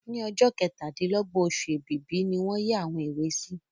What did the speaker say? Ní ọjọ́ kẹtàdílọ́gbọ̀n oṣù Èbìbí ni wọ́n yìí àwọn èwe sí